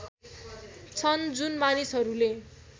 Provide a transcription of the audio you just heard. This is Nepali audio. छन् जुन मानिसहरूले